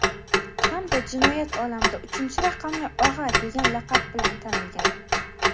hamda jinoyat olamida"uchinchi raqamli og‘a" degan laqab bilan tanilgan.